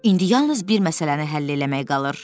İndi yalnız bir məsələni həll eləmək qalır.